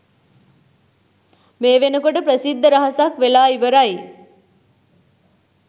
මේ වෙනකොට ප්‍රසිද්ධ රහසක් වෙලා ඉවරයි.